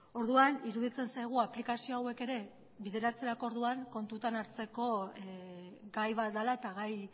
orduan iruditzen zaigu aplikazio hauek ere bideratzeko orduan kontutan hartzeko gai bat dela eta gai